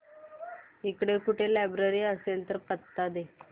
इकडे कुठे लायब्रेरी असेल तर पत्ता दे